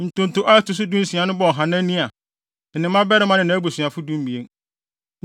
Ntonto a ɛto so dunsia no bɔɔ Hanania, ne ne mmabarima ne nʼabusuafo (12)